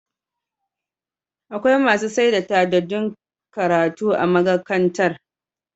Akwai masu saida tadaddun karatu a magakantar